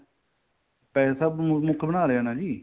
ਪੈਸਾ ਮੁੱਖ ਬਣਾ ਲਿਆ ਨਾ ਜੀ